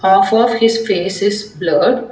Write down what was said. Half of his face is blurred.